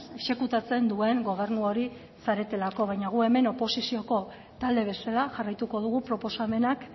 exekutatzen duen gobernu hori zaretelako baina gu hemen oposizioko talde bezala jarraituko dugu proposamenak